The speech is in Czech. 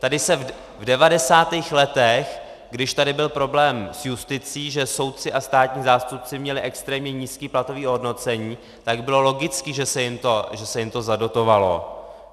Tady se v 90. letech, když tady byl problém s justicí, že soudci a státní zástupci měli extrémně nízké platové ohodnocení, tak bylo logické, že se jim to zadotovalo.